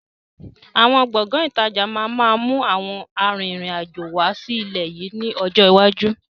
Àwọn Gbọ̀ngán ìtajà máa ma mú àwọn àrin-rìn-àjò wá sí ilẹ̀ yìí ni ọjọ́ iwájú.